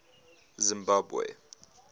zimbabwe